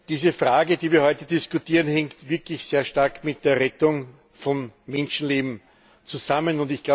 Diese Frage, die wir heute diskutieren, hängt wirklich sehr stark mit der Rettung von Menschenleben zusammen.